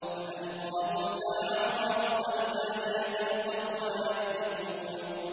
فَأَلْقَىٰ مُوسَىٰ عَصَاهُ فَإِذَا هِيَ تَلْقَفُ مَا يَأْفِكُونَ